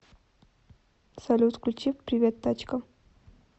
салют включи привет тачка